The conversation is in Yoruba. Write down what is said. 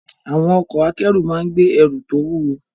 Àwọn ọkọ̀ akẹ́rù máa ń gbé ẹrù tó wúwo.